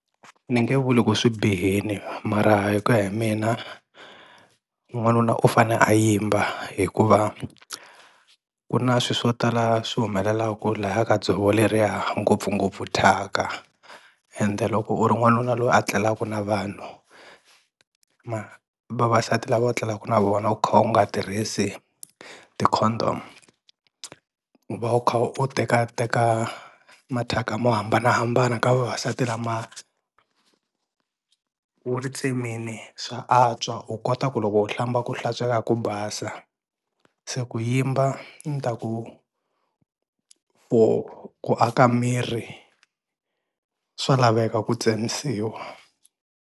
Ni nge vuli ku swi bihini mara hi kuya hi mina n'wanuna u fane a yimba hikuva ku na swi swo tala swi humelelaku laya ka dzovo leriya ngopfungopfu thyaka, ende loko u ri n'wanuna loyi a tlelaku na vanhu vavasati lava u tlengaku na vona u kha u nga tirhisi ti-condom u va u kha u tekateka mathyaka mo hambanahambana ka vavasati lama, u ri tsemini swa antswa u kota ku loko u hlamba ku hlantsweka ku basa, se ku yimba ni ta ku ku ku aka miri swa laveka ku tsemisiwa.